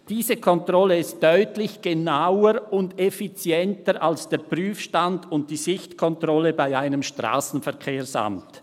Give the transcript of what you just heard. Diese Kontrolle ist deutlich genauer und effizienter als der Prüfstand und die Sichtkontrolle bei einem Strassenverkehrsamt.